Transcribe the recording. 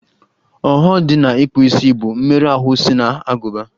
Ọghọ dị na ịkpụ isi bụ mmerụ ahụ si n'agụba